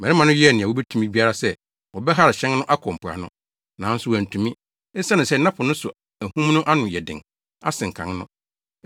Mmarima no yɛɛ nea wobetumi biara sɛ wɔbɛhare hyɛn no akɔ mpoano. Nanso, wɔantumi, esiane sɛ na po no so ahum no ano ayɛ den asen kan no.